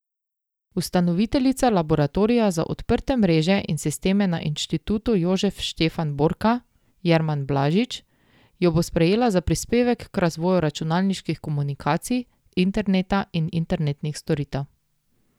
Ustanoviteljica laboratorija za odprte mreže in sisteme na Institutu Jožef Stefan Borka Jerman Blažič jo bo prejela za prispevek k razvoju računalniških komunikacij, interneta in internetnih storitev.